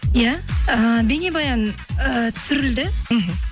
иә ііі бейнебаян ііі түсірілді мхм